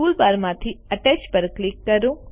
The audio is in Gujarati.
ટુલબાર માંથી અટેચ પર ક્લિક કરો